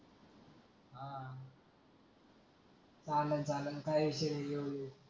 चलन चलन काई ईसु नाही घेऊन या